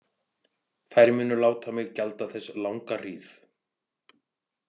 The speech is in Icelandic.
Þær munu láta mig gjalda þess langa hríð.